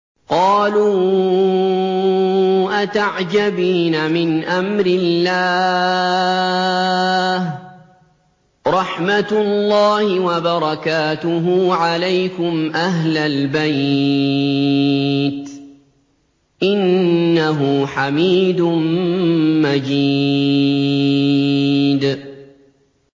قَالُوا أَتَعْجَبِينَ مِنْ أَمْرِ اللَّهِ ۖ رَحْمَتُ اللَّهِ وَبَرَكَاتُهُ عَلَيْكُمْ أَهْلَ الْبَيْتِ ۚ إِنَّهُ حَمِيدٌ مَّجِيدٌ